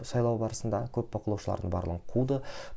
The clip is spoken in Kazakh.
сайлау барысындағы көп бақылаушыларды барлығын қуды